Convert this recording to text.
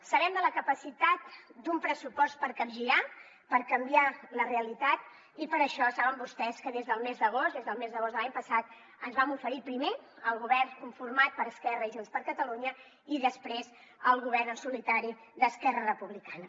sabem de la capacitat d’un pressupost per capgirar per canviar la realitat i per això saben vostès que des del mes d’agost des del mes d’agost de l’any passat ens vam oferir primer al govern conformat per esquerra i junts per catalunya i després al govern en solitari d’esquerra republicana